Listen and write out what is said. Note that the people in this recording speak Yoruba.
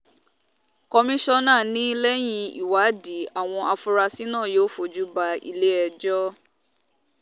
komisanna ni lẹ́yìn ìwádìí àwọn afurasí náà yóò fojú ba ilé-ẹjọ́